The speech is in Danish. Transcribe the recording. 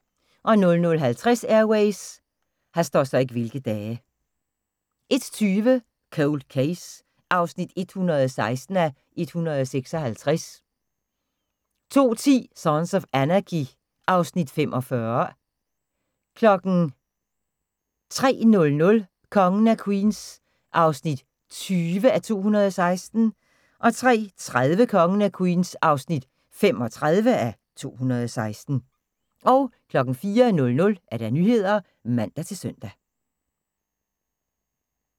00:50: Air Ways 01:20: Cold Case (116:156) 02:10: Sons of Anarchy (Afs. 45) 03:00: Kongen af Queens (20:216) 03:30: Kongen af Queens (35:216) 04:00: Nyhederne (man-søn)